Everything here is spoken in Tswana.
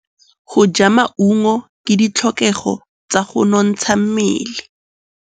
Go ja maungo ke ditlhokegô tsa go nontsha mmele.